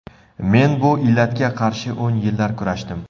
Men bu illatga qarshi o‘n yillar kurashdim.